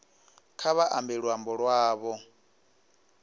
kha vha ambe luambo lwavho